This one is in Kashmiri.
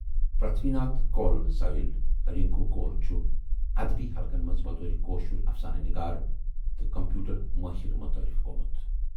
پرتھوی ناتھ کول سایِلؔ رِنکو کول چھُ ادبی حلقن مَنز بطورِ کٲشُر افسانہٕ نِگار تہٕ کمپیوٗٹر مٲہِر متعارف گومُت